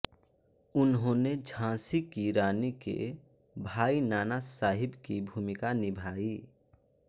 उन्होंने झांसी की रानी के भाई नाना साहिब की भूमिका निभाई